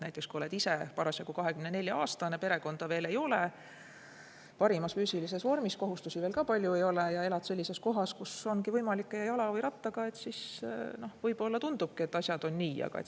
Näiteks kui oled ise parasjagu 24-aastane, perekonda veel ei ole, parimas füüsilises vormis, kohustusi ka palju ei ole ja elad sellises kohas, kus on võimalik liikuda jala või rattaga, siis võib-olla tundubki, et asjad on nii.